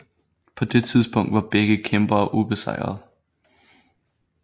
På det tidspunkt var begge kæmpere ubesejret